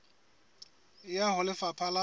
e ya ho lefapha la